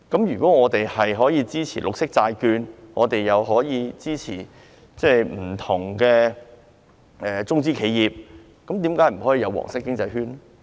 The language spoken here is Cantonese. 如果我們可以支持綠色債券，又可以支持不同的中資企業，為何不可以支持"黃色經濟圈"？